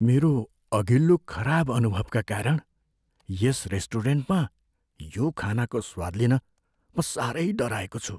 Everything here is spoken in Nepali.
मेरो अघिल्लो खराब अनुभवका कारण यस रेस्टुरेन्टमा यो खानाको स्वाद लिन म साह्रै डराएको छु।